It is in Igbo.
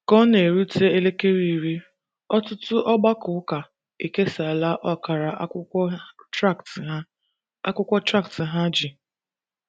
Ka ọ na - erute elekere iri, ọtụtụ ọgbakọ ụka ekesaala ọkara akwụkwọ traktị ha akwụkwọ traktị ha ji.